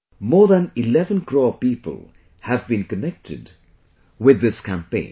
More than 11 crore people have been connected with this campaign